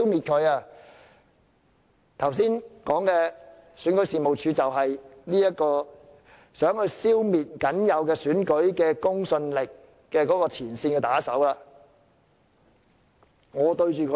剛才說的選舉事務處便是協助北京消滅僅有的選舉公信力的前線打手。